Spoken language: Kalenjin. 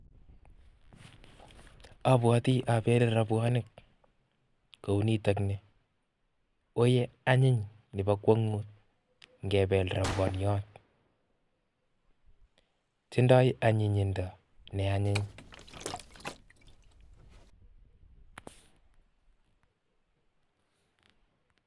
Abwoti abele robwonik kounitok ni, woiye anyiny nebo kwong'ut ngebel robwoniot. Tindoi anyinyindo ne anyiny.